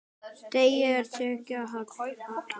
Degi er tekið að halla.